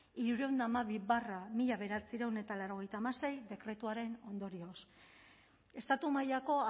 hirurehun eta hamabi barra mila bederatziehun eta laurogeita hamasei dekretuaren ondorioz estatu mailako